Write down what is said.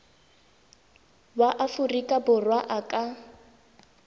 wa aforika borwa a ka